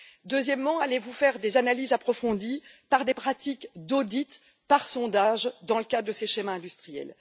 Deuxièmement, allez vous faire des analyses approfondies par des pratiques d'audit, par sondage, dans le cas de ces schémas industriels?